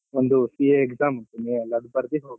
ಒಂದ್ CA exam ಅದು ಬರ್ದಿ ಹೋಗೋದು.